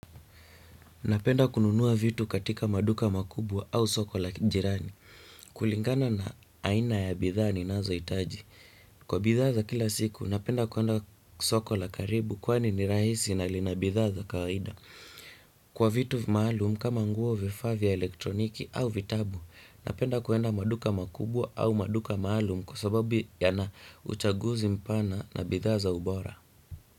Napenda kununua vitu katika maduka makubwa au soko la jirani. Kulingana na aina ya bidhaa ni nazo hitaji. Kwa bidhaa za kila siku, napenda kuenda soko la karibu kwa ni ni rahisi na linabidhaa za kawaida. Kwa vitu maalum, kama nguo vifaa vya elektroniki au vitabu, napenda kuenda maduka makubwa au maduka maalum kwa sababu yana uchaguzi mpana na bidha za ubora.